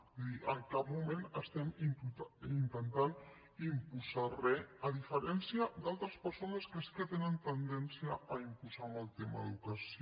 vull dir en cap moment estem intentant imposar res a diferència d’altres persones que sí que tenen tendència a imposar amb el tema educació